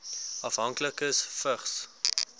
afhanklikes vigs